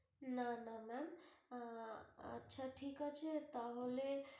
না না ma'am আহ আচ্ছা ঠিক আছে তাহলে।